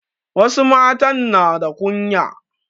Wasu matan na da kunya.